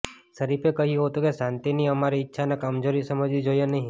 શરીફે કહ્યું હતું કે શાંતિની અમારી ઇચ્છાને કમજોરી સમજવી જોઇએ નહીં